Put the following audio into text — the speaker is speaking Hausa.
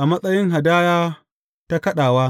a matsayin hadaya ta kaɗawa.